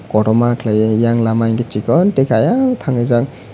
kotoma kelaioe eyang lama hingke sikon teike eyang tangjak.